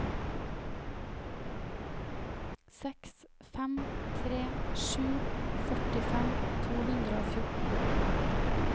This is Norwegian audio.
seks fem tre sju førtifem to hundre og fjorten